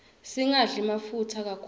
singadli mafutsa kakhulu